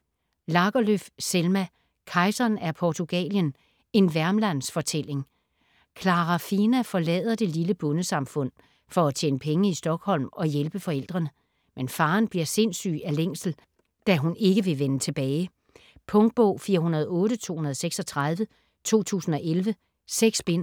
Lagerlöf, Selma: Kejseren af Portugalien: en värmlandsfortælling Klara Fina forlader det lille bondesamfund for at tjene penge i Stockholm og hjælpe forældrene. Men faderen bliver sindssyg af længsel, da hun ikke vil vende tilbage. Punktbog 408236 2011. 6 bind.